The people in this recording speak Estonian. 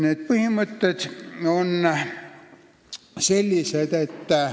Need põhimõtted on sellised.